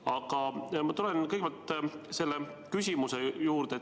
Aga ma tulen küsimuse juurde.